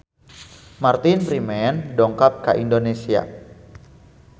Martin Freeman dongkap ka Indonesia